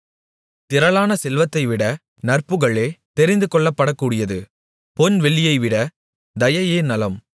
திரளான செல்வத்தைவிட நற்புகழே தெரிந்துகொள்ளப்படக்கூடியது பொன் வெள்ளியைவிட தயையே நலம்